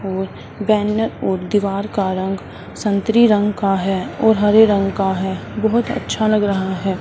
और बैनर और दीवार का रंग संतरी रंग का है और हरे रंग का है बहुत अच्छा लग रहा है।